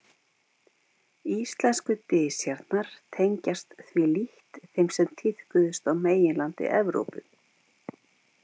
Íslensku dysjarnar tengjast því lítt þeim sem tíðkuðust á meginlandi Evrópu.